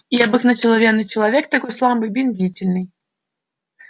и обыкновенный человек такой слабый медлительный